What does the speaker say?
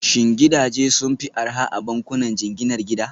Shin gidaje sun fi arha a bankunan jinginar gida?